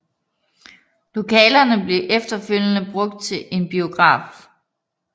Lokalerne blev efterfølgende brugt til en biograf